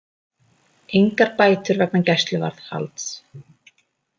Engar bætur vegna gæsluvarðhalds